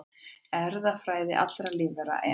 Erfðaefni allra lífvera, en